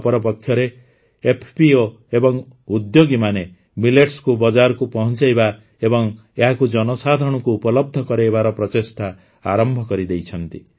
ଅପରପକ୍ଷରେ ଏଫ୍ପିଓ ଏବଂ ଉଦ୍ୟୋଗୀମାନେ ମିଲେଟ୍ସକୁ ବଜାରକୁ ପହଂଚାଇବା ଏବଂ ଏହାକୁ ଜନସାଧାରଣଙ୍କୁ ଉପଲବ୍ଧ କରାଇବାର ପ୍ରଚେଷ୍ଟା ଆରମ୍ଭ କରିଦେଇଛନ୍ତି